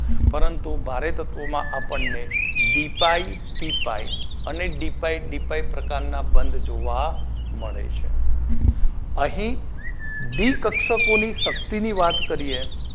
પરંતુ ભારે તત્વો માં આપણને ડી પાઇ પી પાઇ અને ડી પાઇ ડી પાઇ પ્રકાર ના બંધ જોવા મળે છે અહી ડી કક્ષકોની શક્તિ ની વાત કરીએ